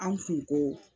An kun ko